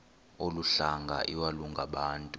olu hlanga iwalungabantu